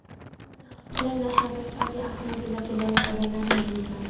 Qulay narxlarda sifatli avtomobillarga loyiq odamlarning buyurtmasi.